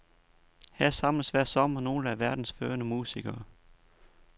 Her samles hver sommer nogle af verdens førende musikere.